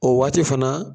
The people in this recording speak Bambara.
O waati fana